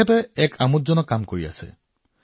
তেওঁ এটা অতি আকৰ্ষণীয় কাম কৰি আছে